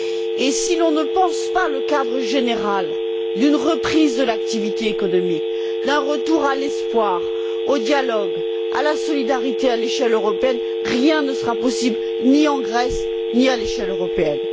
Et si l'on ne pense pas le cadre général d'une reprise de l'activité économique, d'un retour à l'espoir, au dialogue, à la solidarité à l'échelle européenne, rien ne sera possible, ni en Grèce ni à l'échelle européenne.